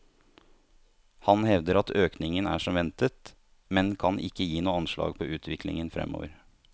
Han hevder at økningen er som ventet, men kan ikke gi noe anslag på utviklingen fremover.